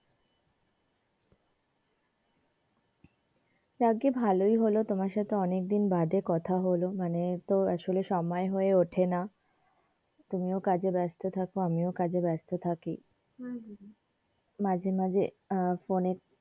যাগ্গে ভালোই হলো তোমার সাথে অনেক দিন বাদে কথা হলো মানে আসলে তো সময় হয়ে ওঠেনা তুমিও কাজে ব্যাস্ত থাকো আমিও কাজে ব্যাস্ত থাকি মাঝে মাঝে আহ ফোনে,